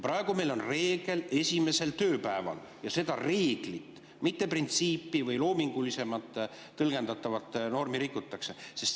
Praegu on meil reegel, et esimesel tööpäeval, ja seda reeglit, mitte printsiipi või loomingulisemalt tõlgendatavat normi rikutakse.